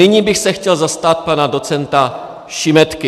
Nyní bych se chtěl zastat pana docenta Šimetky.